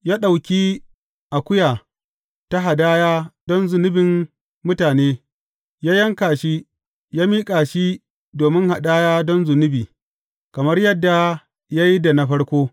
Ya ɗauki akuya ta hadaya don zunubin mutane, ya yanka shi, ya miƙa shi domin hadaya don zunubi kamar yadda ya yi da na farko.